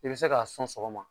I be se k'a sɔn sɔgɔma